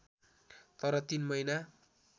तर ३ महिना